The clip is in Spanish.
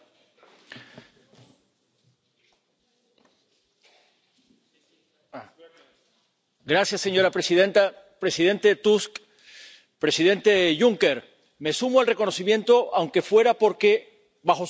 Señora presidenta, presidente Tusk, presidente Juncker, me sumo al reconocimiento, aunque solo sea porque bajo su mandato la Unión Europea ha estado en la peor crisis de su historia, de la que el es el episodio y el quebranto más emblemático.